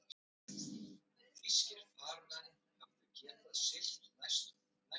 Helga systir mín bauð mér þá að fóstra stelpuna mína meðan ég væri í burtu.